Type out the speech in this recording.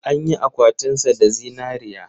An yi akwatinsa da zinariya.